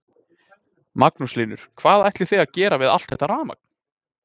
Magnús Hlynur: Hvað ætlið þið að gera við allt þetta rafmagn?